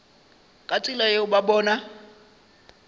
ka tsela yeo ba bona